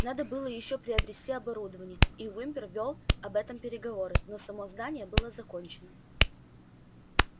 надо было ещё приобрести оборудование и уимпер вёл об этом переговоры но само здание было закончено